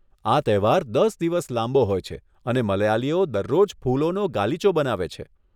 આ તહેવાર દસ દિવસ લાંબો હોય છે અને મલયાલીઓ દરરોજ ફૂલોનો ગાલીચો બનાવે છે.